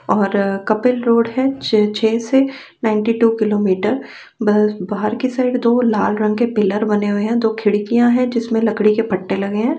और कपिल रोड़ है छे से नाईटी टू किलोमीटर ब बाहर की साइड दो लाल रंग के पिलर बने हुए है दो खिड़कियाँ है जिसमें लकड़ी के पट्टे लगे हैं।